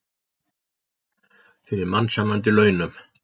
Fyrir mannsæmandi launum.